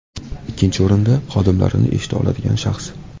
Ikkinchi o‘rinda, xodimlarini eshita oladigan shaxs.